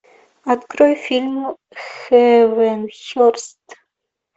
открой фильм хэвенхерст